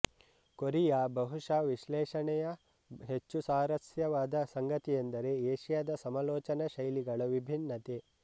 Korea ಬಹುಶಃ ವಿಶ್ಲೇಷಣೆಯ ಹೆಚ್ಚು ಸ್ವಾರಸ್ಯವಾದ ಸಂಗತಿಯೆಂದರೆ ಏಷಿಯಾದ ಸಮಾಲೋಚನಾ ಶೈಲಿಗಳ ವಿಭಿನ್ನತೆ